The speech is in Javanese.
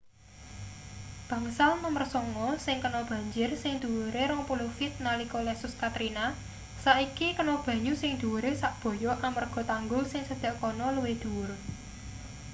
bangsal nomer sanga sing kena banjir sing dhuwure 20 feet nalika lesus katrina saiki kena banyu sing dhuwure sak-boyok amarga tanggul sing cedhak kono luwih dhuwur